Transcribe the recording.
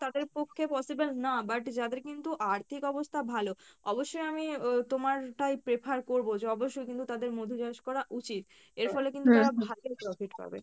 তাদের পক্ষে, possible না but যাদের কিন্তু আর্থিক অবস্থা ভালো অবশ্যই আমি আহ তোমার টাই prefer করবো যে অবশ্য কিন্তু তাদের মধু চাষ করা উচিত, এরফলে কিন্তু তারা ভালো profit পাবে।